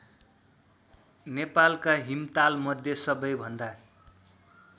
नेपालका हिमतालमध्ये सबैभन्दा